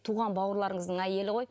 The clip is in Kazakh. туған бауырларыңыздың әйелі ғой